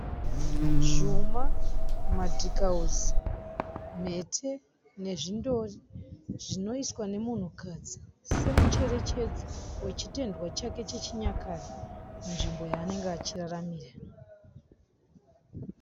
Zvuma, madhikausi mhete nezvindori zvinoiswa nemukadzi semucherechedzo wechitendwa chake chechinyakare munzvimbo yaanenge achiraramira